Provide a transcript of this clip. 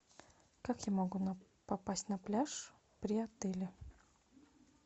как я могу попасть на пляж при отеле